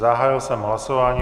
Zahájil jsem hlasování.